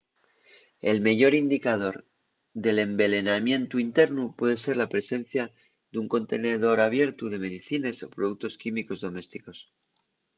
el meyor indicador d’envelenamientu internu puede ser la presencia d’un contenedor abiertu de medicines o productos químicos domésticos